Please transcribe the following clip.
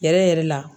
Yɛrɛ yɛrɛ la